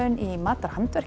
í